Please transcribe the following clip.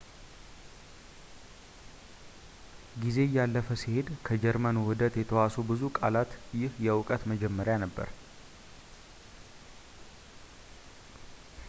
ጊዜ እያለፈ ሲሄድ ከጀርመን ውህደት የተዋሱ ብዙ ቃላት ይህ የእውቀት መጀመሪያ ነበር